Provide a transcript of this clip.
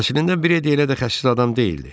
Əslində Predi elə də xəsis adam deyildi.